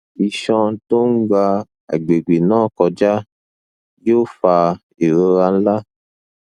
isan to n gba agbegbe na koja yoo fa irora nlà